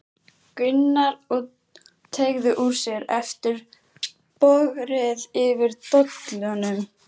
Gunnar og teygði úr sér eftir bogrið yfir dollunum.